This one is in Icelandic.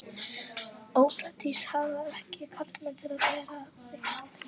Ópraktískt að hafa ekki karlmann til að bera það þyngsta.